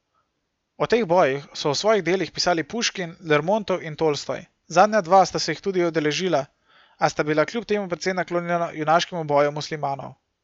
O teh bojih so v svojih delih pisali Puškin, Lermontov in Tolstoj, zadnja dva sta se jih tudi udeležila, a sta bila kljub temu precej naklonjena junaškemu boju muslimanov.